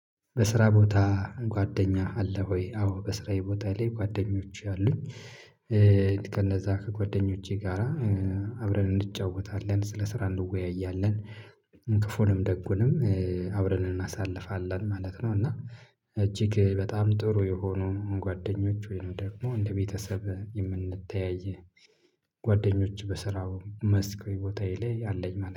በስራ ቦታ ጓደኛ አለ ወይ? አዎ በስራዬ ቦታዬ ላይ ጓደኞቼ አሉኝ። ከነዛ ከጓደኞቼ ጋራ አብረን እንጫወታለን ስለ ስራ እንወያያለን። ክፉንም ደጉንም አብረን እናሳልፋለን ማለት ነው። እና እጅግ በጣም ጥሩ የሆኑ ጓደኞች ወይ ነው ደግሞ እንደ ቤተሰብ የምንተያይ ጓደኞች በስራው መስክ ቦታዬ ላይ አለኝ